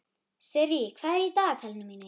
Sirrý, hvað er í dagatalinu mínu í dag?